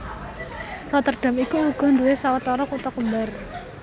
Rotterdam iku uga nduwé sawetara kutha kembar